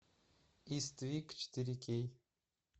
иствик четыре кей